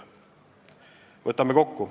" Võtame kokku.